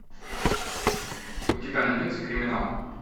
у тебя найдется криминал